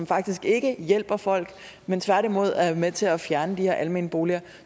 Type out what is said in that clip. faktisk ikke hjælper folk men tværtimod er med til at fjerne de her almene boliger